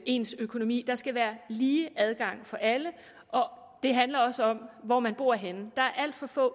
ens økonomi der skal være lige adgang for alle det handler også om hvor man bor henne der er alt for få